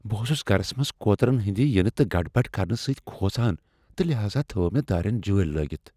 بہٕ اوسُس گھرس منٛز کوترن ہنٛدِ ینہٕ تہٕ گڑبڑ کرنہٕ سۭتۍ کھۄژان تہٕ لہاذا تھٲو مےٚ دارین جٲلۍ لٲگِتھ ۔